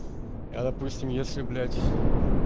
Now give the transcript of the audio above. я допустим если блять